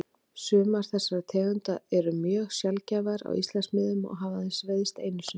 Sumar þessara tegunda eru mjög sjaldgæfar á Íslandsmiðum og hafa aðeins veiðst einu sinni.